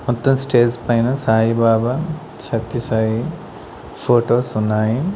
మొత్తం స్టేజ్ పైన సాయిబబా సత్యసాయి ఫోటోస్ ఉన్నాయి.